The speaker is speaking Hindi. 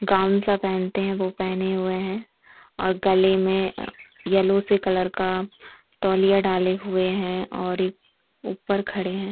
गाउन सा पहनते है वो पहने हुए है और गले में अ येलो से कलर का तौलिया डाले हुए है और एक ऊपर खड़े है।